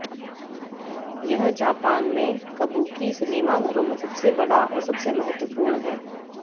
यह जापान में कबूकी सिनेमाघरों में सबसे बड़ा और सबसे महत्वपूर्ण है